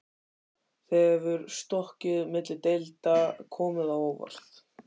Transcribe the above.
Hefur stökkið milli deilda komið á óvart?